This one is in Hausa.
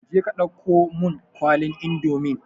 Je ka dauko mun kwalin indomin